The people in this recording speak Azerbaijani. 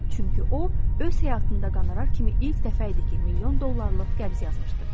Çünki o, öz həyatında qonorar kimi ilk dəfə idi ki, milyon dollarlıq qəbz alırdı.